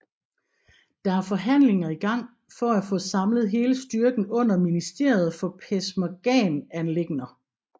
Der er forhandlinger i gang for at få samlet hele styrken under Ministeriet for Peshmergaanliggender